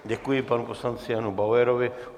Děkuji panu poslanci Janu Bauerovi.